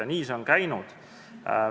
Nii on see käinud.